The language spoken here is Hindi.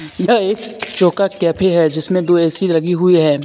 यह एक जोका कैफे है जिसमें दो ऐ_सी लगी हुई है.